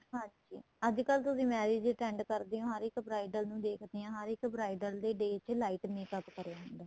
ਹਾਂਜੀ ਅੱਜਕਲ ਤੁਸੀਂ marriage attend ਕਰਦੇ ਹੋ ਹਰੇਕ bridal ਨੂੰ ਦੇਖਦੇ ਹੋ ਹਰੇਕ bridal ਦੇ day ਤੇ light makeup ਕਰਿਆ ਹੁੰਦਾ